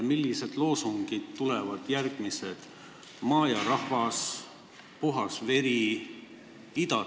Millised loosungid tulevad järgmiseks, kas maa ja rahvas, puhas veri, idaterritoorium?